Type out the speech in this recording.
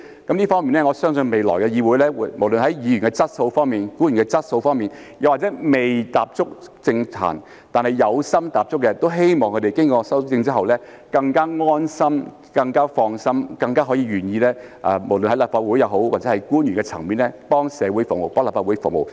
就這方面，我相信未來的議會，無論是議員的質素方面、官員的質素方面，又或是未踏足政壇但有心踏足的，都希望經過修正之後，他們會更加安心、更加放心、更加願意無論是在立法會或官員的層面，為社會服務、為立法會服務。